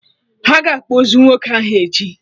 Aga akpọ ozu nwoke ahụ echi